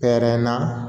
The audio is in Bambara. Pɛrɛnna